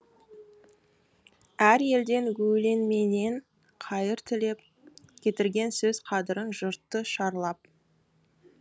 әр елден өлеңменен қайыр тілеп кетірген сөз қадірін жұртты шарлап